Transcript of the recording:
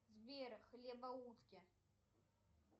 сбер хлебоутки